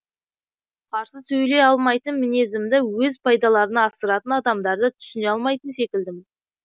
қарсы сөйлей алмайтын мінезімді өз пайдаларына асыратын адамдарды түсіне алмайтын секілдімін